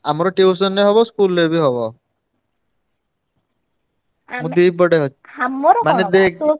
ଆମର tuition ରେ ବି ହବ school ରେ ବି ହବ। ମୁଁ ଦି ପଟେ